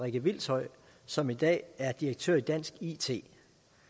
rikke hvilshøj som i dag er direktør i dansk it